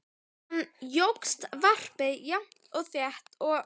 Síðan jókst varpið jafnt og þétt og